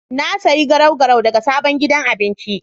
Na sayi garau-garau daga sabon gidan abinci.